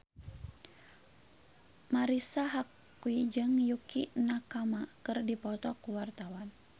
Marisa Haque jeung Yukie Nakama keur dipoto ku wartawan